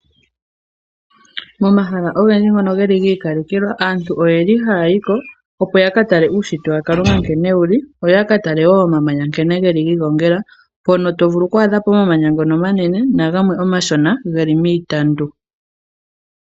Momahala ogendji ngono geli gi ikalekelwa. Aantu oyeli haayi ko opo ya ka tale uushitwe wa Kalunga nkene wuli, yo ya ka tale woo omamanya nkene geli gi igongela mpono to vulu kwa adha po omamanya ngono omanene nagamwe omashona geli miitandu.